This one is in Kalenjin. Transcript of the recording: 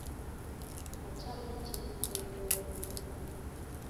Achame cheptondorieno